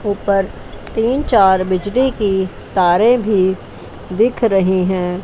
ऊपर तीन चार बिजली की तारे भी दिख रहे हैं।